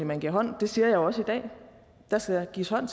man giver hånd det siger jeg også i dag der skal gives hånd